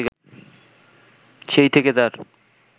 সেই থেকে তার